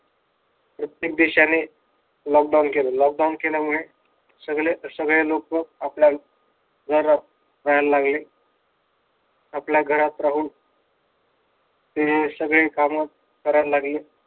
प्रत्येक देशाने lockdown केल lockdown केल्यामुळे सगळे लोक आपल्या घरात राहायला लागले. आपल्या घरात राहून ते सगळे काम करायला लागले.